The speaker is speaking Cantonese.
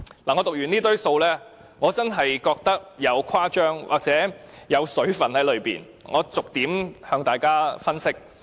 我讀出這堆數字後，真的覺得當中有誇張成分，讓我逐點向大家分析。